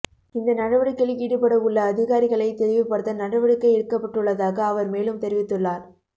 இந்த நடவடிக்கையில் ஈடுபடவுள்ள அதிகாரிகளை தெளிவுபடுத்த நடவடுக்கை எடுக்கப்பட்டுள்ளதாக அவர் மேலும் தெரிவித்துளார்